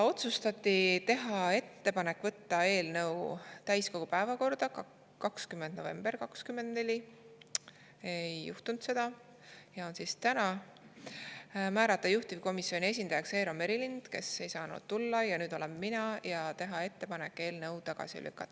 Otsustati teha ettepanek võtta eelnõu täiskogu päevakorda 20. novembril 2024 – seda ei juhtunud ja see on täna –, määrata juhtivkomisjoni esindajaks Eero Merilind, kes ei saanud tulla, nüüd olen mina, ja teha ettepanek eelnõu tagasi lükata.